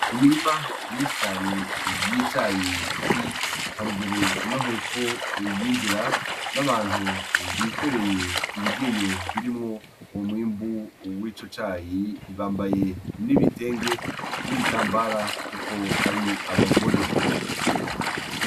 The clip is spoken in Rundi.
Imirima myinshi cane y'icayi iri haruguru no hepfo y'inzira n'abantu bikoreye ibigeyo birimwo umwimbu wico cayi bambaye n'ibitenge n'ibitambara kuko ari abagore.